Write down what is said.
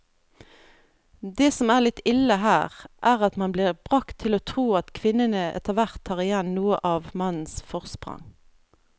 Det som er litt ille her, er at man blir bragt til å tro at kvinnene etterhvert tar igjen noe av mannens forsprang.